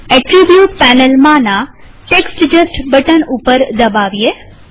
attribute પેનલમાંના text just button ઉપર દબાવીએ